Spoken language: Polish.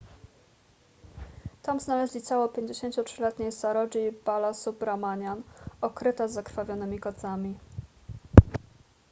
tam znaleźli ciało 53-letniej saroji balasubramanian okryte zakrwawionymi kocami